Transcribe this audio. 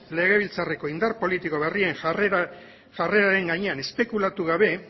legebiltzarreko indar politiko berrien jarreraren gainean espekulatu gabe